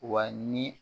Wa ni